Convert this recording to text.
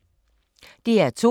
DR2